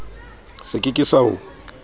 se ke ke sa o